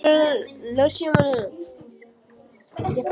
Hann strauk hendi eftir silfruðum og bústnum hliðum þeirra.